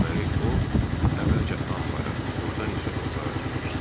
Deməli o əvvəlcə anbara, ordan isə otağa girmişdi.